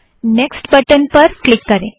next button पर click करें